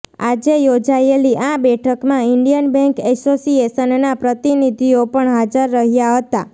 આજે યોજાયેલી આ બેઠકમાં ઇન્ડિયન બૅન્ક એસોસિયેશનના પ્રતિનિધિઓ પણ હાજર રહ્યા હતા